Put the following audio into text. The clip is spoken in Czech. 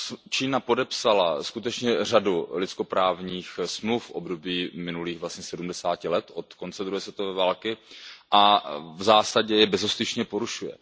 Čína podepsala skutečně řadu lidskoprávních smluv v období minulých vlastně 70 let od konce druhé světové války a v zásadě je bezostyšně porušuje.